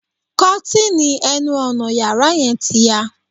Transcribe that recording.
Kọ́tìnì ẹnu ọnà yàrá yẹn ti ya